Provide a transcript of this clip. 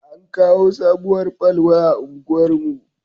An kawo sabuwar fal waya unguwar mu